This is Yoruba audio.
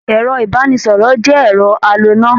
Ẹ̀rọ ìbánisọ̀rọ̀ jẹ́ ẹ̀rọ aloná.